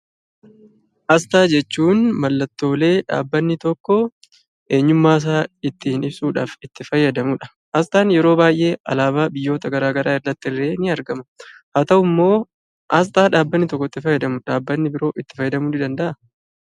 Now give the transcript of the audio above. Asxaa jechuun mallattoolee dhaabbanni tokko eenyummaasaa ittiin ibsuudhaaf itti fayyadamudha. Asxaan yeroo baay'ee alaabaa biyyoota garaa garaa irrattillee ni argama. Haa ta'uummoo asxaa dhaabbanni tokko itti fayyadame dhaabbanni biroo itti fayyadamuu nii danda'aa?